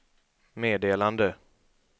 meddelande